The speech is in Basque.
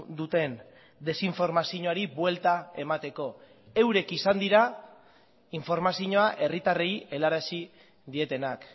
duten desinformazioari buelta emateko eurek izan dira informazioa herritarrei helarazi dietenak